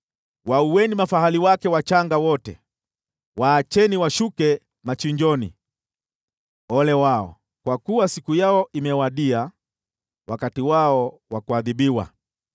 Waueni mafahali wake wachanga wote; waacheni washuke machinjoni! Ole wao! Kwa kuwa siku yao imewadia, wakati wao wa kuadhibiwa.